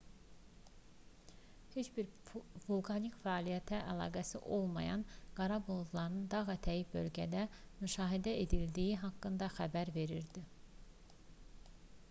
heç bir vulkanik fəaliyyətlə əlaqəsi olmayan qara buludların dağətəyi bölgədə müşahidə edildiyi haqqında xəbər verildi